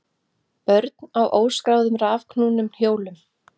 Börn á óskráðum rafknúnum hjólum